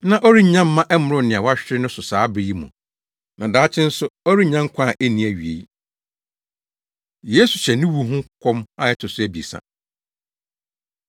na ɔrennya mma ɛmmoro nea wahwere no so saa bere yi mu, na daakye nso, ɔrennya nkwa a enni awiei.” Yesu Hyɛ Ne Wu Ho Nkɔm A Ɛto So Abiɛsa